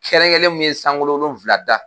Kɛrɛnkɛrɛnlen mun ye sankolo wolofila da.